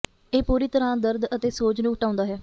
ਇਹ ਪੂਰੀ ਤਰਾਂ ਦਰਦ ਅਤੇ ਸੋਜ ਨੂੰ ਹਟਾਉਂਦਾ ਹੈ